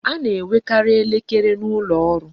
A na-enwekarị elekere n'ụlọ ọrụ